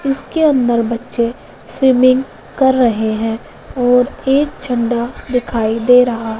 इसके अंदर बच्चे स्विमिंग कर रहे हैं और एक झंडा दिखाई दे रहा--